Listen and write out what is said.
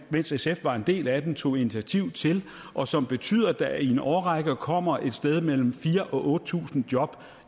mens sf var en del af den tog initiativ til og som betyder at der i en årrække kommer et sted mellem fire og otte tusind job